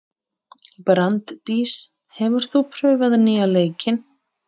Branddís, hefur þú prófað nýja leikinn?